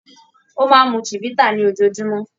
Ó máa ń mu Chivita ní ojoojúmọ́.